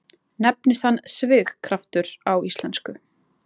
Nefnist hann svigkraftur á íslensku.